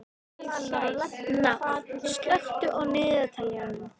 Náð, slökktu á niðurteljaranum.